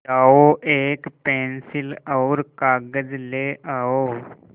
जाओ एक पेन्सिल और कागज़ ले आओ